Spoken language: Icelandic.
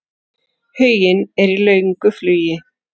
Huginn er í löngu flugi.